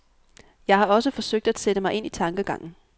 Jeg har også forsøgt at sætte mig ind i tankegangen.